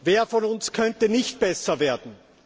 Wer von uns könnte nicht besser werden?